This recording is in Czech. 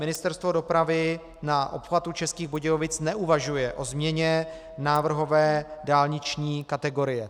Ministerstvo dopravy na obchvatu Českých Budějovic neuvažuje o změně návrhové dálniční kategorie.